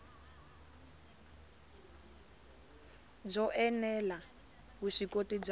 byo ene la vuswikoti bya